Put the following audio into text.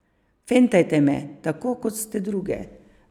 Fentajte me, tako kot ste druge.